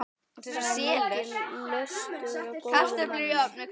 Það er mikill löstur á góðum manni.